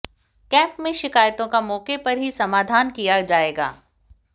camp में शिकायतों का मौके पर ही समाधान किया जायेगा